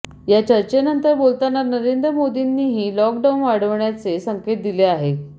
या चर्चेनंतर बोलताना नरेंद्र मोदींनीही लॉकडाऊन वाढवण्याचे संकेत दिले आहेत